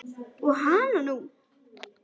Og hananú!